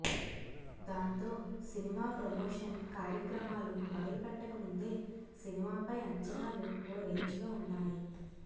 దాంతో cinema promotion కార్యక్రమాలు మొదలుపెట్టక ముందే సినిమాపై అంచనాలు ఓ రేంజ్ లో ఉన్నాయి